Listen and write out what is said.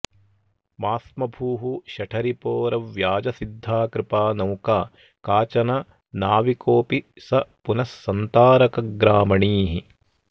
मास्म भूः शठरिपोरव्याजसिद्धा कृपा नौका काचन नाविकोऽपि स पुनस्सन्तारकग्रामणीः